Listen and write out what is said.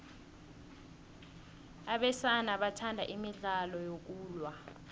abesana bathanda imidlalo yokulwa